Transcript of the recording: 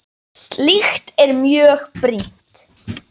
Slíkt er mjög brýnt.